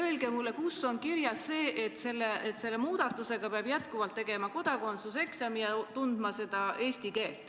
Öelge mulle, kus on kirjas see, et selle muudatuse korral peab jätkuvalt tegema kodakondsuseksami ja tundma eesti keelt.